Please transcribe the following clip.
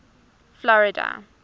florida